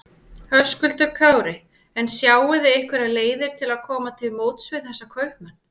Höskuldur Kári: En sjáið þið einhverjar leiðir til að koma til móts við þessa kaupmenn?